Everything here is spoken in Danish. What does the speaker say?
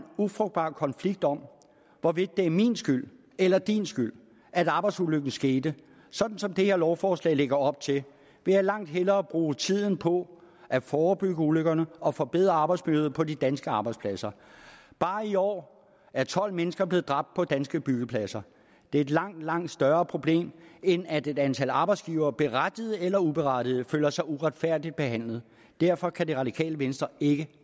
ufrugtbar konflikt om hvorvidt det er min skyld eller din skyld at arbejdsulykken skete sådan som det her lovforslag lægger op til vil jeg langt hellere bruge tiden på at forebygge ulykkerne og forbedre arbejdsmiljøet på de danske arbejdspladser bare i år er tolv mennesker blevet dræbt på danske byggepladser det er et langt langt større problem end at et antal arbejdsgivere berettiget eller uberettiget føler sig uretfærdigt behandlet derfor kan det radikale venstre ikke